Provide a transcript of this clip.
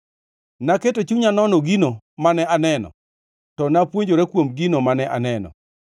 Naketo chunya nono gino mane aneno to napuonjora kuom gino mane aneno.